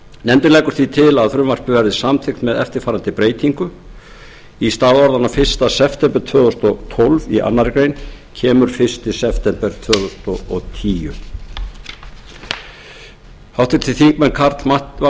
nefndin leggur því til að frumvarpið verði samþykkt með eftirfarandi breytingu í stað orðanna fyrsta september tvö þúsund og tólf í annarri grein kemur fyrsta september tvö þúsund og tíu háttvirtur þingmaður karl fimmti